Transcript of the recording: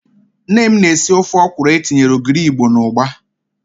Nne m na-esi ofe ọkwụrụ etinyere ogiri Igbo na ụgba.